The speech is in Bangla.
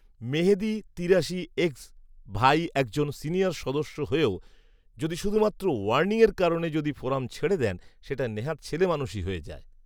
মেহেদী তিরাশি এক্স ভাই একজন সিনিয়র সদস্য হয়েও যদি শুধুমাত্র "ওয়ার্নিং" এর কারণে যদি ফোরাম ছেড়ে দেন সেটা নেহাত ছেলেমানুষী হয়ে যায়